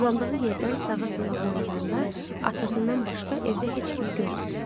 Uzandığı yerdən sağa-sola boylananda atasından başqa evdə heç kimi görmədi.